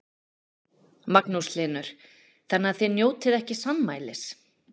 Magnús Hlynur: Þannig að þið njótið ekki sannmælis?